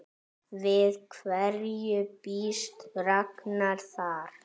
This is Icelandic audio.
Við hverju býst Ragnar þar?